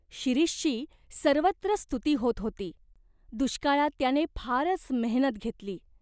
शिरीषची सर्वत्र स्तुती होत होती. दुष्काळात त्याने फारच मेहनत घेतली.